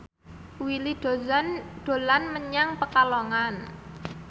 Willy Dozan dolan menyang Pekalongan